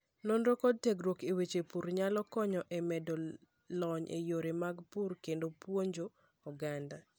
Nonro kod tiegruok e weche pur nyalo konyo e medo lony e yore mag pur kendo puonjo oganda.